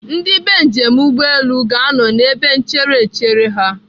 Ndị bee njem ụgbọelu ga-anọ n'ebe nchere echere ha.